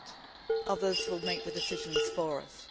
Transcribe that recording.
If not, others will make the decisions for us.